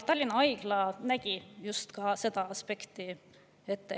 Tallinna Haigla puhul nähti just seda aspekti ette.